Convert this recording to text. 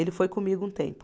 Ele foi comigo um tempo.